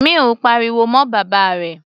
Mill pariwo mọ́ bàbá rẹ̀.